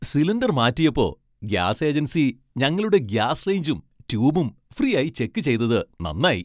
Cylinder മാറ്റിയപ്പോ gas agency ഞങ്ങളുടെ gas റേഞ്ചും ട്യൂബും ഫ്രീയായി ചെക്ക് ചെയ്തത് നന്നായി.